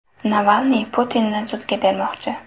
Navalniy Putinni sudga bermoqchi.